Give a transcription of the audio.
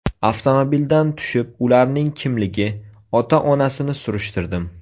Avtomobildan tushib, ularning kimligi, ota-onasini surishtirdim.